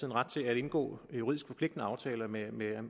en ret til at indgå juridisk forpligtende aftaler med